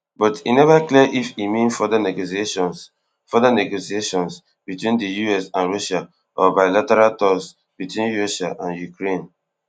but e neva clear if e mean further negotiations further negotiations between di us and russia or bilateral talks between russia and ukraine